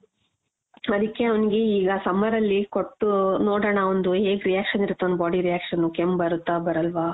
ಆದಿಕ್ಕೆ ಅವ್ನಿಗೆ ಈಗ summer ಅಲ್ಲಿ ಕೊಟ್ಟು ನೋಡಣ ಒಂದು ಹೇಗ್ reaction ಇರುತ್ತೆ ಅವ್ನ್ body reaction ಕೆಮ್ಮ್ ಬರುತ್ತಾ ಬರಲ್ವಾ.